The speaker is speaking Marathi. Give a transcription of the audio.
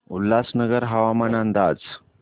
उल्हासनगर हवामान अंदाज